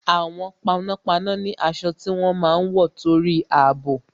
Àwọn panápaná ni aṣọ tí wọ́n máa ń wọ torí àbò